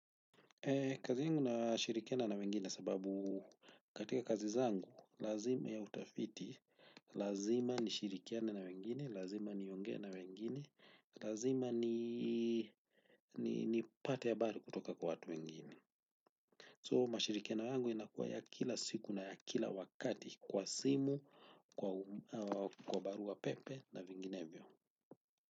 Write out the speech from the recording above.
Kazi yangu na shirikiana na wengine sababu katika kazi zangu, lazima ya utafiti, lazima ni shirikiane na wengine, lazima nionge na wengine, lazima ni pate habari kutoka kwa watu wengine. So, mashirikiano yangu yanakuwa ya kila siku na ya kila wakati kwa simu, kwa barua pepe na vinginevyo.